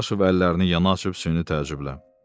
Dadaşov əllərini yana açıb süni təəccüblə.